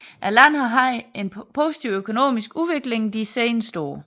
Landet har haft en positiv økonomisk udvikling de seneste år